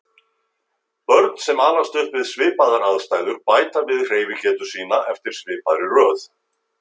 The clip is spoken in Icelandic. Börn sem alast upp við svipaðar aðstæður bæta við hreyfigetu sína eftir svipaðri röð.